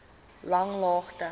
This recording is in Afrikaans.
langlaagte